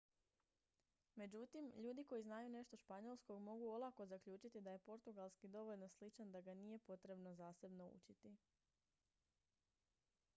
međutim ljudi koji znaju nešto španjolskog mogu olako zaključiti da je portugalski dovoljno sličan da ga nije potrebno zasebno učiti